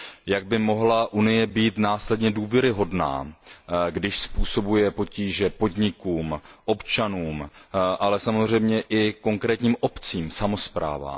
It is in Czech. Jak by mohla Unie být následně důvěryhodná, když způsobuje potíže podnikům, občanům, ale samozřejmě i konkrétním obcím, samosprávám?